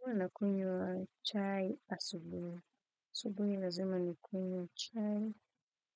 Huwa nakunywa chai asubuhi. Asubuhi lazima nikunywe chai